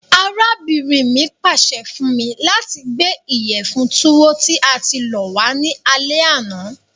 Arábìnrin mi pàse fun mi lati gbé ìyẹ̀fun Tuwo tí a ti lọ̀ wa ni alẹ àná.